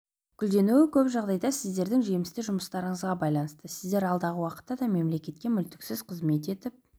гүлденуі көп жағдайда сіздердің жемісті жұмыстарыңызға байланысты сіздер алдағы уақытта да мемлекетке мүлтіксіз қызмет етіп